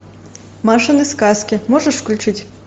машины сказки можешь включить